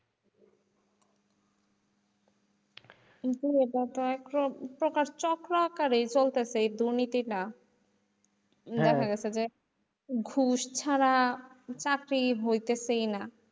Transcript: চক্র আকারে চলতিছে এই দুর্নীতিটা। দেখা গেছে যে ঘুস ছাড়া চাকরি হইতেছেই না।